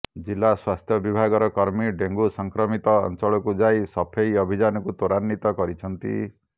ଜିଲ୍ଲା ସ୍ୱାସ୍ଥ୍ୟ ବିଭାଗର କର୍ମୀ ଡେଙ୍ଗୁ ସଂକ୍ରମିତ ଅଞ୍ଚଳକୁ ଯାଇ ସଫେଇ ଅଭିଯାନକୁ ତ୍ୱରାନିତ କରିଛନ୍ତି